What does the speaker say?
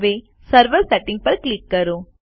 હવે server settings પર click કરો